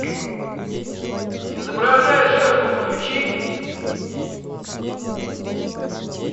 изображая жертву включи